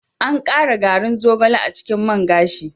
An ƙara garin zogale a cikin man gashin.